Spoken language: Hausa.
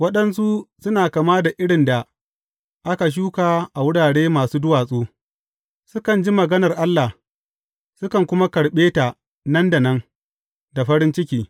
Waɗansu suna kama da irin da aka shuka a wurare masu duwatsu, sukan ji maganar Allah, sukan kuma karɓe ta nan da nan da farin ciki.